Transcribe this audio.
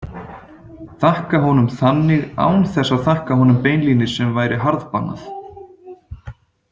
Þakka honum þannig án þess að þakka honum beinlínis sem væri harðbannað.